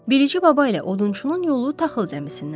Bilici baba ilə odunçunun yolu taxıl zəmisindən düşür.